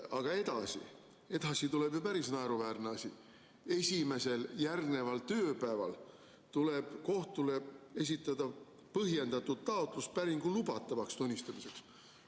Aga edasi tuleb ju päris naeruväärne asi: "Esimesel järgneval tööpäeval tuleb kohtule esitada põhjendatud taotlus päringu lubatavaks tunnistamiseks.